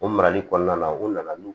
O marali kɔnɔna na u nana n'u ye